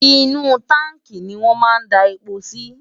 inú táǹkì ni wọn máa n da epo si